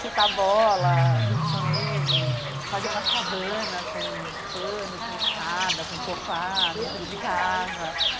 Chutar bola junto com ele, fazer umas cabanas com panos, com escada, com sofá dentro de casa.